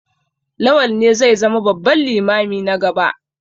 Lawal ne zai zama babban limami na gaba.